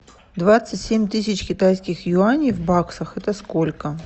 двадцать семь тысяч китайских юаней в баксах это сколько